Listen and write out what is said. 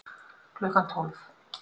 Klukkan tólf